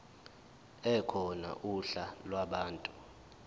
ekhona uhla lwabantu